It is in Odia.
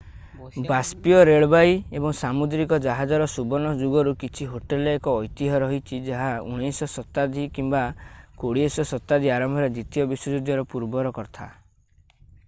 ବାଷ୍ପୀୟ ରେଳବାଇ ଏବଂ ସାମୁଦ୍ରିକ ଜାହାଜର ସୁବର୍ଣ୍ଣ ଯୁଗରୁ କିଛି ହୋଟେଲର ଏକ ଐତିହ୍ୟ ରହିଛି ଏହା 19ଶ ଶତାବ୍ଦୀ କିମ୍ବା 20ଶ ଶତାବ୍ଦୀ ଆରମ୍ଭରେ ଦ୍ୱିତୀୟ ବିଶ୍ୱଯୁଦ୍ଧ ପୂର୍ବର କଥା